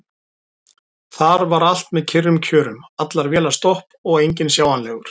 Þar var allt með kyrrum kjörum: allar vélar stopp og enginn sjáanlegur.